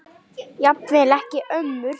Jafnvel ekki ömmur.